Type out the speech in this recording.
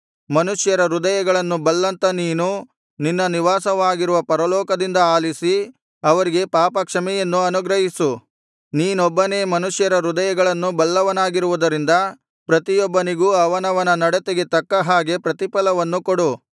ಮನುಷ್ಯರ ಹೃದಯಗಳನ್ನು ಬಲ್ಲಂಥ ನೀನು ನಿನ್ನ ನಿವಾಸವಾಗಿರುವ ಪರಲೋಕದಿಂದ ಅಲಿಸಿ ಅವರಿಗೆ ಪಾಪ ಕ್ಷಮೆಯನ್ನು ಅನುಗ್ರಹಿಸು ನೀನೊಬ್ಬನೇ ಮನುಷ್ಯರ ಹೃದಯಗಳನ್ನು ಬಲ್ಲವನಾಗಿರುವುದರಿಂದ ಪ್ರತಿಯೊಬ್ಬನಿಗೂ ಅವನವನ ನಡತೆಗೆ ತಕ್ಕ ಹಾಗೆ ಪ್ರತಿಫಲವನ್ನು ಕೊಡು